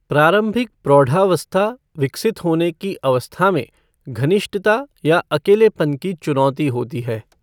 प्रारम्भिक प्रौढ़ावस्था विकसित होने की अवस्था में घनिष्ठता या अकेलेपन की चुनौती होती है।